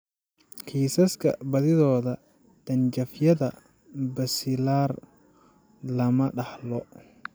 Kiisaska badidooda, dhanjafyada basilar lama dhaxlo.